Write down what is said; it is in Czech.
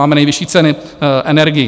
Máme nejvyšší ceny energií.